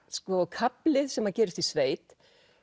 kafli sem gerist í sveit